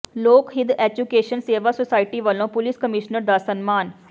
ਲੋਕ ਹਿੱੱਤ ਐਜੂਕੇਸ਼ਨ ਸੇਵਾ ਸੁਸਾਇਟੀ ਵੱਲੋਂ ਪੁਲਿਸ ਕਮਿਸ਼ਨਰ ਦਾ ਸਨਮਾਨ